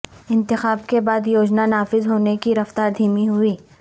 انتخاب کے بعد یوجنا نافذ ہونے کی رفتار دھیمی ہوئی